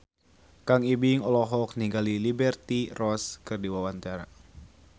Kang Ibing olohok ningali Liberty Ross keur diwawancara